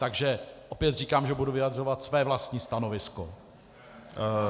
Takže opět říkám, že budu vyjadřovat své vlastní stanovisko.